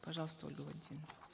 пожалуйста ольга валентиновна